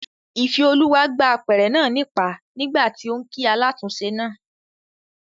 Ìfẹ́olúwa gbá apẹ̀rẹ̀ náà nípàá nígbàtí óún kí alátúnse náà